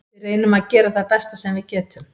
Við reynum að gera það besta sem við getum.